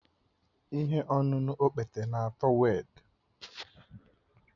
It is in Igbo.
Ihe ọṅụṅụ okpete na-atọ werd